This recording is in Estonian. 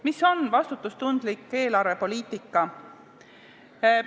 Mis on vastutustundlik eelarvepoliitika?